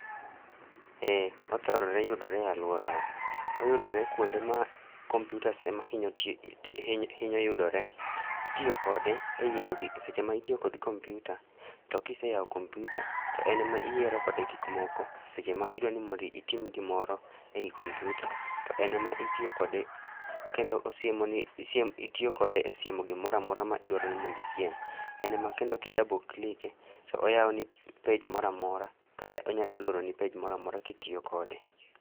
Eeeh, othorore yudore e aluora wa. Oyudore kuonde ma kompyutas ema hinyo tiye, hinyo yudore. Itiyo kode e yiero gik, seche ma itiyo kod kompyuta to kiseyao kompyuta to en ema yiero kode gik moko seche ma idwani itim gimoro ei kompyuta to en ema itiyo kode kendo osiemoni, itiyo kode e siemo gimoro amora midwani mondo isiem. En ema kendo ka i double click e to oyao ni page moro amora kata onyalo loroni page moro amora kitiyo kode